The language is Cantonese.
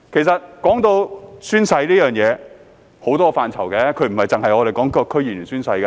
談到宣誓，其實有很多範疇，不只是我們提到的區議員宣誓。